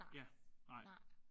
Ja. Nej